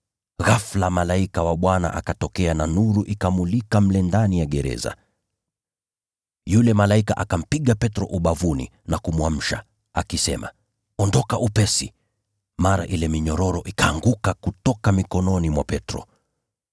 Ghafula malaika wa Bwana akatokea na nuru ikamulika mle ndani ya gereza. Yule malaika akampiga Petro ubavuni na kumwamsha, akisema, “Ondoka upesi!” Mara ile minyororo ikaanguka kutoka mikononi mwa Petro.